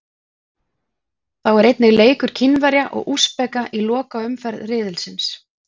Þá er einnig leikur Kínverja og Úsbeka í lokaumferð riðilsins.